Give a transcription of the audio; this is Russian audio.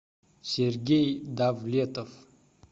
сергей давлетов